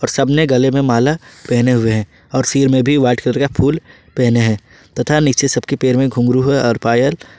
सब ने गले में माला पहने हुए है और सिर में भी व्हाइट कलर का ल पहने है तथा नीचे सबके पैर में घुंघरू है और पायल--